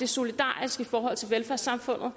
solidarisk i forhold til velfærdssamfundet